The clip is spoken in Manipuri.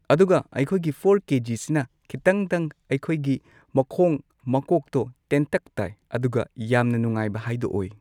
ꯑꯗꯨꯒ ꯑꯩꯈꯣꯏꯒꯤ ꯐꯣꯔ ꯀꯦꯖꯤꯁꯤꯅ ꯈꯤꯇꯪꯗꯪ ꯑꯩꯈꯣꯏꯒꯤ ꯃꯈꯣꯡ ꯃꯀꯣꯛꯇꯣ ꯇꯦꯟꯇꯛ ꯇꯥꯏ ꯑꯗꯨꯒ ꯌꯥꯝꯅ ꯅꯨꯡꯉꯥꯢꯕ ꯍꯥꯏꯗꯣ ꯑꯣꯏ